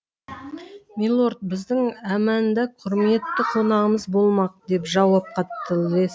милорд біздің әмәнда құрметті қонағымыз болмақ деп жауап қатты лесли